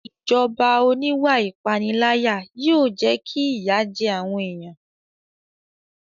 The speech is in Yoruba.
Ìjọba oníwà ìpániláyà yóò jẹ́ kí ìyà jẹ àwọn èèyàn